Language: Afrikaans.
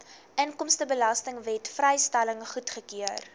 inkomstebelastingwet vrystelling goedgekeur